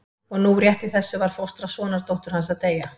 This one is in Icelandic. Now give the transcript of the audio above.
Og nú rétt í þessu var fóstra sonardóttur hans að deyja.